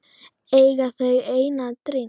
Eiga þau einn dreng.